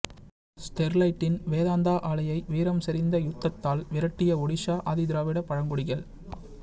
ஸ்டெர்லைட்டின் வேதாந்தா ஆலையை வீரம் செறிந்த யுத்தத்தால் விரட்டிய ஒடிஷா ஆதிதிராவிட பழங்குடிகள்